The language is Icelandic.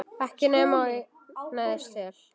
Ekki nema ég neyðist til.